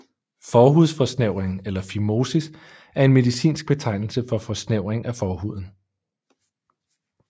Forhudsforsnævring eller fimosis er en medicinsk betegnelse for forsnævring af forhuden